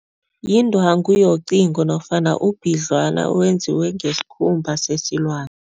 Yindwangu yocingo nofana ubhidlwana owenziwe ngesikhumba sesilwani.